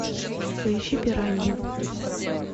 поищи пираньи